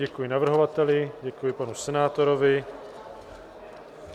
Děkuji navrhovateli, děkuji panu senátorovi.